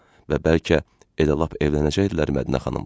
Və bəlkə elə lap evlənəcəkdilər Mədinə xanımla.